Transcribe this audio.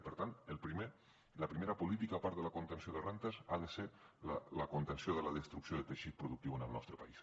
i per tant la primera política a part de la contenció de rendes ha de ser la contenció de la destrucció de teixit productiu en el nostre país